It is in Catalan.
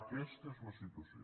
aquesta és la situació